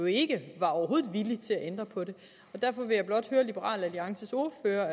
ikke villig til at ændre på det derfor vil jeg blot høre liberal alliances ordfører